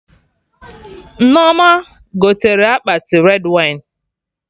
Nneoma gotere akpati red wine